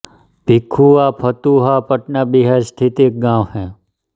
भीखुआ फतुहा पटना बिहार स्थित एक गाँव है